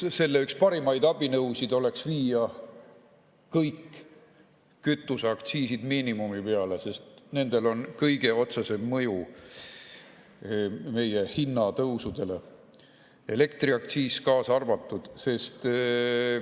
Selle üks parimaid abinõusid oleks viia kõik kütuseaktsiisid miinimumi peale, sest nendel on kõige otsesem mõju meie hinnatõusudele, elektriaktsiis kaasa arvatud.